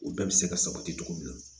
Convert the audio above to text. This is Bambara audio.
U bɛɛ bɛ se ka sabati cogo min na